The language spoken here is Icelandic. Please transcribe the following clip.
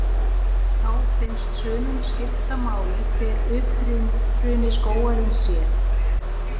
Þá finnst sumum skipta máli hver uppruni skógarins sé.